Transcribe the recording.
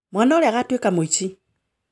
Mwana ũrĩa agatuĩka mũici